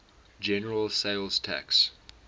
general sales tax